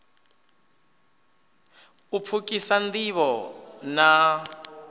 u pfukhisa nd ivho na